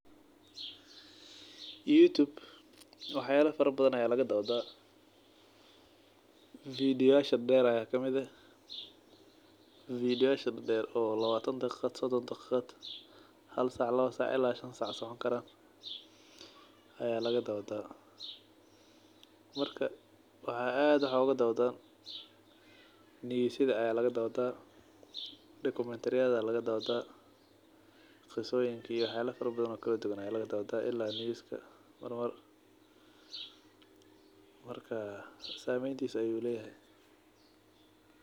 Youtube waxyala fara badhan aa lagadawdah, video[-yasha dher aa kamid eh, video-yasha dher oo lawatan daqiqad sodon daqiqad hal sac lawa sac ila shan sac socon karan ayaa lagadawdah , marka waxaa ad wax ogadawdhan , neywsyadha aa lagadawdah iyo documentary-yadha aa lagadawdhaa , qisoyin iyo wax yala kale oo fara badhan aa lawadah , ila news aa lagadawdah mar mar, marka sameyntisa ayuu leyahay.